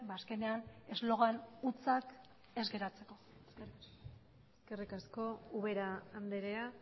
ba azkenean eslogan hutsak ez geratzeko eskerrik asko eskerrik asko ubera andrea